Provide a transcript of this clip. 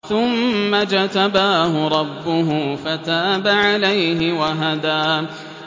ثُمَّ اجْتَبَاهُ رَبُّهُ فَتَابَ عَلَيْهِ وَهَدَىٰ